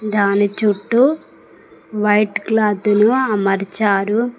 దాని చుట్టూ వైట్ క్లాతులు అమరిచారు.